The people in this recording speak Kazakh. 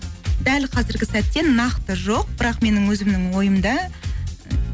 дәл қазіргі сәтте нақты жоқ бірақ менің өзімнің ойымда